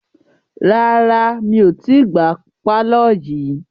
Rárá mi ò tí gbá pàlọ́ yìí